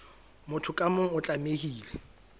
motho ka mong o tlamehile